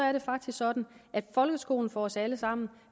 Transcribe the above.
er det faktisk sådan at folkeskolen for os alle sammen